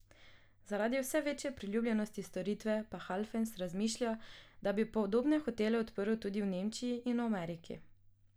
Zaradi vse večje priljubljenosti storitve pa Halfens razmišlja, da bi podobne hotele odprl tudi v Nemčiji in v Ameriki.